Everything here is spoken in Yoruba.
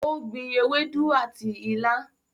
o gbìn Ewedu àti ila.